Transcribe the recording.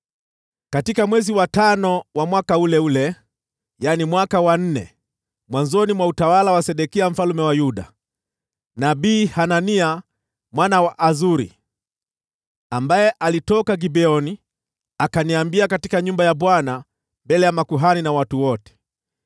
Katika mwezi wa tano wa mwaka ule ule, yaani mwaka wa nne, mwanzoni mwa utawala wa Sedekia mfalme wa Yuda, nabii Hanania mwana wa Azuri, ambaye alitoka Gibeoni, akaniambia katika nyumba ya Bwana mbele ya makuhani na watu wote: